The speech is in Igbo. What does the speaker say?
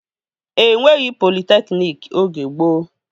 E nweghị politekniki oge gboo